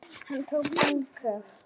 Hann tók andköf.